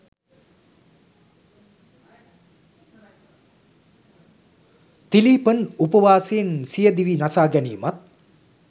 තිලීපන් උපවාසයෙන් සිය දිවි නසා ගැනීමත්